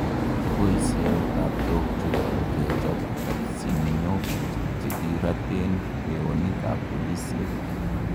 Kiboisien taptok chuton kechop tapsiniok chekiraten kweonik ak piloisiek